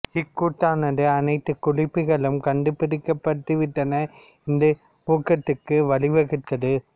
இக்கூற்றானது அனைத்து குறிப்புகளும் கண்டு பிடிக்கப்பட்டுவிட்டன என்ற ஊகத்திற்கு வழிவகுத்தது